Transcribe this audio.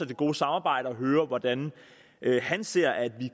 det gode samarbejde og høre hvordan han ser at vi